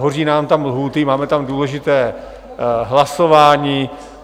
Hoří nám tam lhůty, máme tam důležité hlasování.